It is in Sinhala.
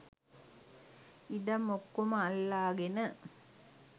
ඉඩම් ඔක්කොම අල්ලාගෙන.